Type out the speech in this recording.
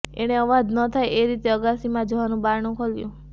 એણે અવાજ ન થાય તે રીતે અગાશીમાં જવાનું બારણું ખોલ્યું